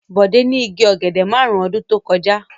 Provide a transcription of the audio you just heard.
Bọ̀dé ní igi ọ̀gẹ̀dẹ̀ márùn-ún ọdún tó kọjá.